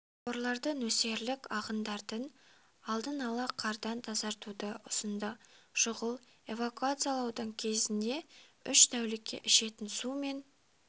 құбырларды нөсерлік ағындарды алдын-ала қардан тазартуды ұсынды шұғыл эвакуациялаудың кезіне үш тәулікке ішетін су мен